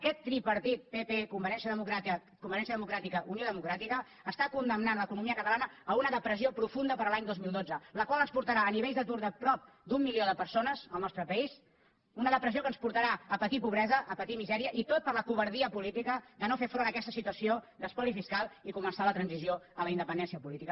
aquest tripartit pp convergència democràtica unió democràtica està condemnant l’economia catalana a una depressió profunda per a l’any dos mil dotze la qual ens portarà a nivells d’atur de prop d’un milió de persones al nostre país a una depressió que ens portarà a patir pobresa a patir misèria i tot per la covardia política de no fer front a aquesta situació d’espoli fiscal i començar la transició a la independència política